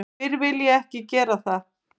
Fyrr vil ég ekki gera það.